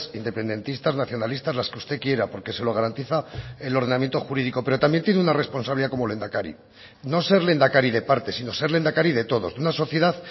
independentistas nacionalistas las que usted quiera porque se lo garantiza el ordenamiento jurídico pero también tiene una responsabilidad como lehendakari no ser lehendakari de partes sino ser lehendakari de todos una sociedad